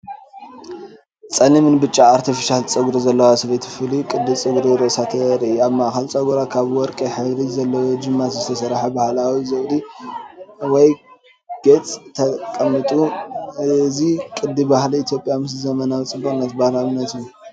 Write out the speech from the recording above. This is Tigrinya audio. ጸሊምን ብጫ ኣርቲፊሻል ጸጉሪ ዘለዋ ሰበይቲ ፍሉይ ቅዲ ጸጉሪ ርእሳ ተርኢ፣ ኣብ ማእከል ጸጉራ፡ ካብ ወርቂ ሕብሪ ዘለዎ ጅማት ዝተሰርሐ ባህላዊ ዘውዲ ወይ ጌጽ ተቐሚጡ፡፡ እዚ ቅዲ ባህሊ ኢትዮጵያ ምስ ዘመናዊነትጽቡቕን ባህላውን እዩ።